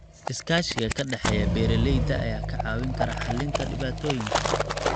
Iskaashiga ka dhexeeya beeralayda ayaa kaa caawin kara xallinta dhibaatooyinka.